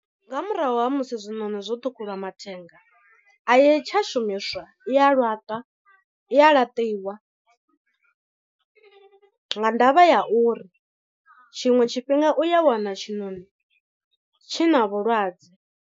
Nga murahu ha musi zwiṋoni zwo ṱhukhulwa mathenga, a yi tsha shumiswa i a laṱwa i a laṱiwa nga ndavha ya uri tshiṅwe tshifhinga u ya wana tshiṋoni tshi na vhulwadze.